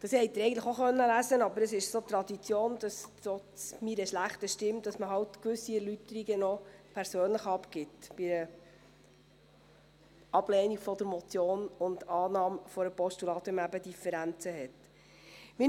Das haben Sie eigentlich auch lesen können, aber es ist so Tradition, dass man halt – trotz meiner schlechten Stimme – bei einer Ablehnung der Motion und Annahme als Postulat noch gewisse Erläuterungen persönlich abgibt, wenn man eben Differenzen hat.